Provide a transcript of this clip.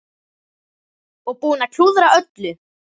Og búinn að klúðra öllu!